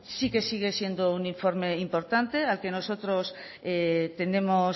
sí que sigue siendo un informe importante al que nosotros tenemos